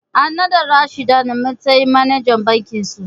An naɗa Rashida a matsayin manajan reshen bakinsu.